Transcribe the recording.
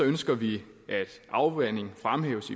ønsker vi at afvanding fremhæves